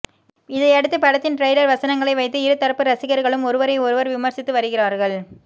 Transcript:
இதையடுத்து படத்தின் டிரைலர் வசனங்களை வைத்து இரு தரப்பு ரசிகர்களும் ஒருவரை ஒருவர் விமர்சித்து வருகிறார்கள்